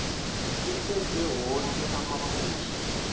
kutjhejwe woke amaphuzu